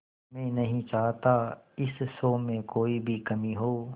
मैं नहीं चाहता इस शो में कोई भी कमी हो